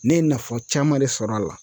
Ne ye nafa caman de sɔrɔ a la.